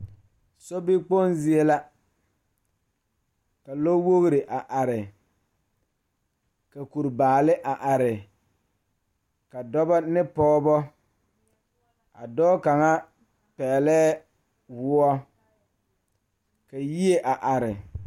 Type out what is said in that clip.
Sobie ka lɔre are ziɛ la dɔɔ ne Pɔgeba a dɔɔ kaŋa suɛ kpare ziɛ ka bonsɔglaa a be be ko'o teɛ o nu a yeere woɔ sɔglɔ ka dɔɔba a te are ka yie a are.